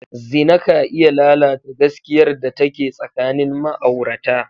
Zina ka iya lalata gaskiyar da take tsakanin ma'aurata.